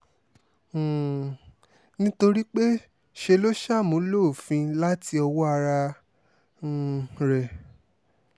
um nítorí pé ṣe ló ṣàmúlò òfin láti ọwọ́ ara um rẹ̀